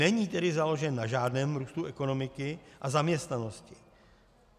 Není tedy založen na žádném růstu ekonomiky a zaměstnanosti.